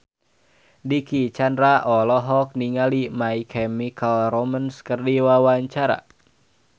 Dicky Chandra olohok ningali My Chemical Romance keur diwawancara